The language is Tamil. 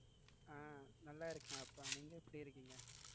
அஹ் நல்லா இருக்கேன் அப்பா நீங்க எப்படி இருக்கீங்க